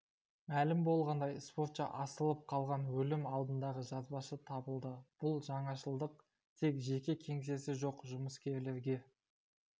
мәлім болғандай спортшы асылып қалған өлім алдындағы жазбасы табылды бұл жаңашылдық тек жеке кеңсесі жоқ жұмыскерлерге